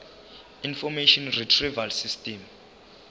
information retrieval system